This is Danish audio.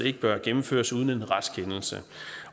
ikke bør gennemføres uden en retskendelse